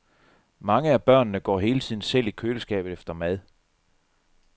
Mange af børnene går hele tiden selv i køleskabet efter mad.